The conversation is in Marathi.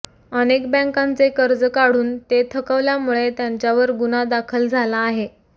अनेक बँकांचे कर्ज काढून ते थकवल्यामुळे त्यांच्यावर गुन्हा दाखल झाला आहे